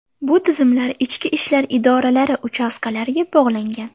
Bu tizimlar ichki ishlar idoralari uchastkalariga bog‘langan.